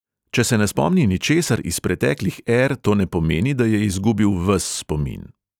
Če se ne spomni ničesar iz preteklih er, to ne pomeni, da je izgubil ves spomin.